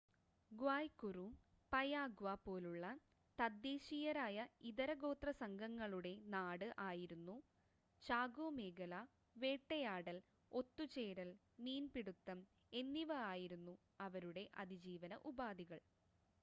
ഗ്വായ് കുറു Payagua പോലുള്ള തദ്ദേശീയരായ ഇതര ഗോത്ര സംഘങ്ങളുടെ നാട് ആയിരുന്നു ചാകോ മേഖല വേട്ടയാടൽ ഒത്തുചേരൽ മീൻപിടുത്തം എന്നിവ ആയിരുന്നു അവരുടെ അതിജീവന ഉപാധികൾ